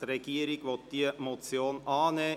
Der Regierungsrat will diese Motion annehmen.